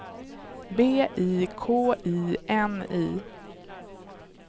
B I K I N I